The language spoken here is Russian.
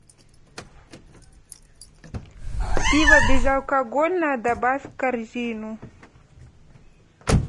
пиво безалкогольное добавь в корзину